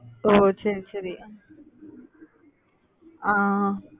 ஓஹ் சரி சரி. ஆஹ்